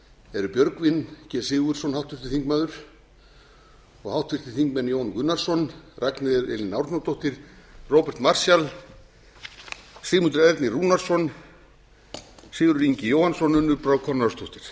eru háttvirtir þingmenn björgvin g sigurðsson og háttvirtur þingmaður jón gunnarsson ragnheiður e árnadóttir róbert marshall sigmundur ernir rúnarsson sigurður ingi jóhannsson og unnur brá